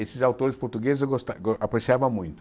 Esses autores portugueses eu gosta ah apreciava muito.